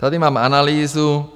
Tady mám analýzu.